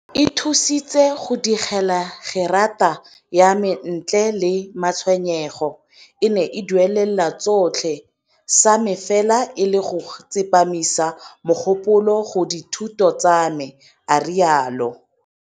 E nthusitse go digela gerata ya me ntle le matshwenyego. E ne e duelela tsotlhe, sa me fela e le go tsepamisa mogopolo go dithuto tsa me, a rialo.